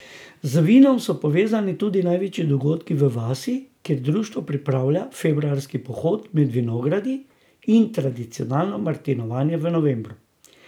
Z vinom so povezani tudi največji dogodki v vasi, kjer društvo pripravlja februarski pohod med vinogradi in tradicionalno martinovanje v novembru.